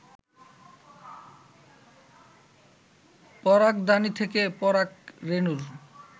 পরাগধানী থেকে পরাগ রেণুর